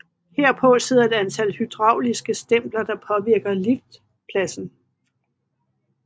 Herpå sidder et antal hydrauliske stempler der påvirker liftpladen